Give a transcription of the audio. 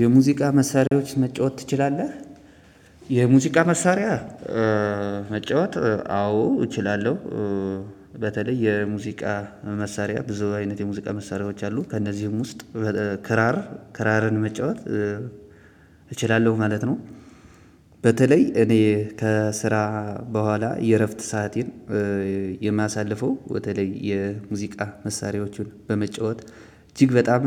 የሙዚቃ መሳሪያዎች መጫወት ትችላለህ? የሙዚቃ መሳሪያ መጫወት አዎ እችላለሁ። በተለይ የሙዚቃ መሳሪያ ብዙ አይነት የሙዚቃ መሳሪያዎች አሉ ከእነዚህም ውስጥ ክራር ክራርን መጫወት እችላለሁ ማለት ነው። በተለይ እኔ ከስራ በኋላ የእረፍት ሰሃቴን የማሳልፈው በተለይ የሙዚቃ መሳሪያዎቹን በመጫወት እጅግ በጣም